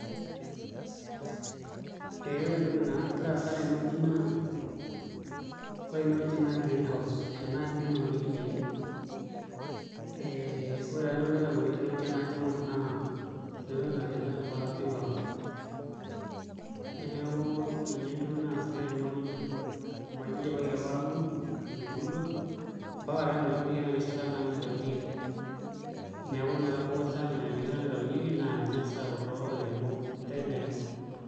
Ee ore entoki nagira aasa tenewuei naa ore enewueji naa greenhouse ena aji duo naunieki indaiki eeh naa ore entoki nagira abulu tenewueji tenajo aing'orr naa cucumber neeku ninye entoki naasitai tene wueji amu ajo idipaki apa atuun, etubulua mpaka naa ometabaiki ena rishata naitaunyieki neeku naa etabaua erishata naitaunyieki neeku naa ninye eesita kulo airemok kegirai naa aitau.